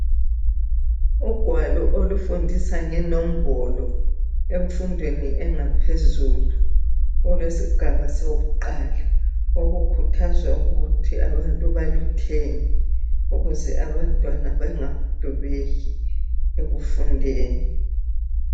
Ugwalo olufundisa ngenombolo, emfundweni engaphezulu, olwesigaba sokuqala, okukhuthazwa ukuthi abantu baluthenge, ukuze abantwana bangadubeki ekufundeni.